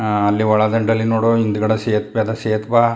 ಆ ಅಲ್ಲಿ ಒಳದಂಡೆಯಲ್ಲಿ ನೋಡಿದ್ರೆ ಹಿಂದುಗಡೆ ಎಲ್ಲ ಸೇತುವೆ ಅಲ್ಲ ಸೇತುವ.